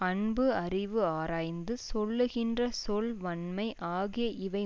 அன்பு அறிவு ஆராய்ந்து சொல்கின்ற சொல் வன்மை ஆகிய இவை